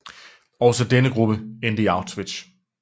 Også denne gruppe endte i Auschwitz